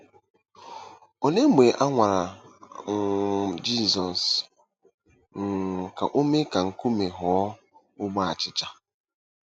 Olee mgbe a nwara um Jizọs um ka o mee ka nkume ghọọ ogbe achịcha?